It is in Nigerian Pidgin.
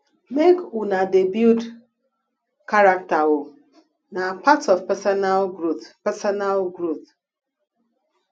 make una dey build character o na part of personal growth personal growth